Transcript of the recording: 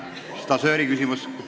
Stažööriküsimus.